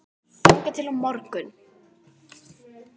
þangað til á morgun?